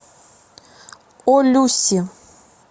о люси